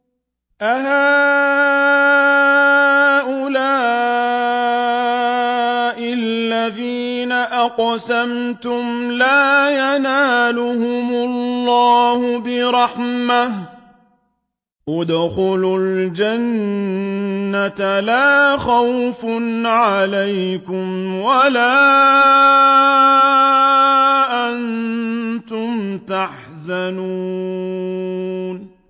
أَهَٰؤُلَاءِ الَّذِينَ أَقْسَمْتُمْ لَا يَنَالُهُمُ اللَّهُ بِرَحْمَةٍ ۚ ادْخُلُوا الْجَنَّةَ لَا خَوْفٌ عَلَيْكُمْ وَلَا أَنتُمْ تَحْزَنُونَ